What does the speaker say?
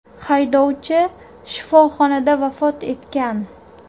Haydovchi shifoxonada vafot etgan.